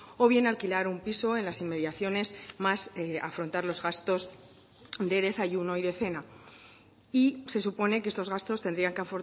o bien alquilar un piso en las inmediaciones más afrontar los gastos de desayuno y de cena y se supone que estos gastos tendrían que